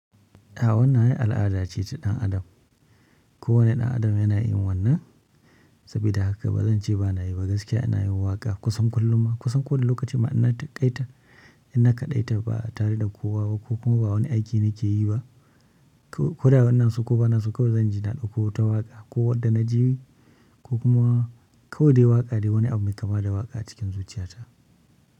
A wannan ai al'ada ce ta ɗan adam. Kowani ɗan adam yana yin wannan. Saboda haka ba zan ce ba na yi ba gaskiya. Ina yin waƙa kusan kullum ma kusan ko da lokacin ma ina taƙaita, ina kaɗaita ba tare da ko wawa ko kuma ba wani aiki na ke yi ba. Ko da wannan su ko ba na su kawai zan ji na ɗauko ta waƙa ko wadda na ji bi ko kuma kawai dai waƙa dai wani abu mai kama da waƙa cikin zuciyata.